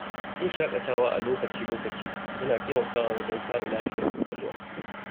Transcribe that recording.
Yin shaƙatawa a lokaci-lokaci yana taimakawa wajen kare lafiyar kwakwalwa.